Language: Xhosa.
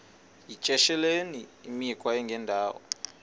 yityesheleni imikhwa engendawo